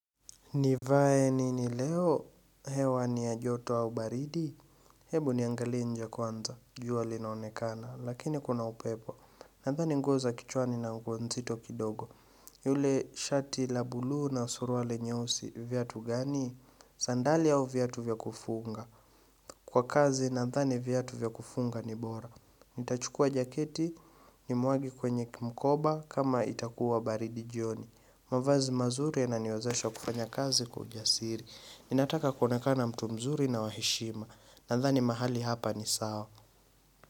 Nivae nini leo, hewa niya joto au baridi? Hebu niangali njee kwanza, jua linaonekana, lakini kuna upepo. Nandhani nguo za kichwani na nguo nzito kidogo. Yule shati la bluu na surwali nyeusi, viatu gani? Zandali au viatu vya kufunga. Kwa kazi, nandhani viatu vya kufunga ni bora. Nitachukua jaketi ni mwagi kwenye mkoba kama itakuwa baridi jioni. Mwavazi mazuri yananiwazesha kufanya kazi kwa ujasiri Ninataka kuonekana mtu mzuri na waheshima Nandhani mahali hapa ni sawa.